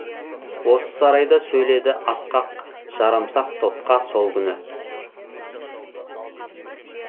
осы сарайда сөйледі асқақ жарамсақ топқа сол күні